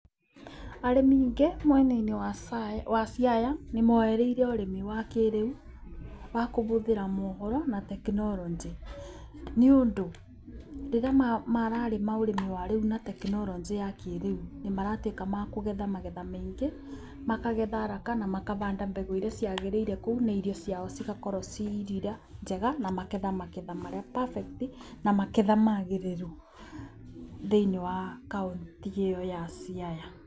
Arĩmi aingĩ mwena-inĩ wa Siaya nĩ moereire ũrĩmi wa kĩrĩu wa kũbũthĩra moboro na tekinoreonjĩ. Nĩ ũndũ rĩrĩa mararĩma ũrĩmi wa rĩu na tekinoronjĩ ya kĩrĩu nĩ maratuĩka makũgetha maketha maingĩ, makagetha kana makabanda mbegũ iria ciagĩrĩirwo kũu na irio ciao cigakorwo ciĩ irio njega na maketha maketha marĩa perfect na maketha magĩrĩru thĩinĩ wa kaũntĩ ĩyo ya Siaya.